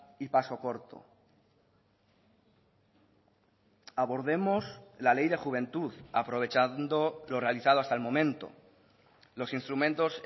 y paso corto abordemos la ley de juventud aprovechando lo realizado hasta el momento los instrumentos